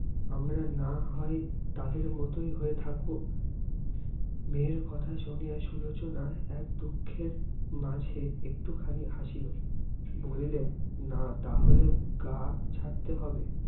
আমরা না হয়, তাদের মতই হয়ে থাকবো। মেয়ের কথা শুনে, সুলোচনা এক দুখের মাঝে এক্টুখানি হাসিল। বলিলেন, না তা হলে গাঁ ছাড়তে হবে।